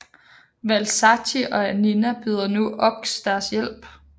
Valzacchi og Annina tilbyder nu Ochs deres hjælp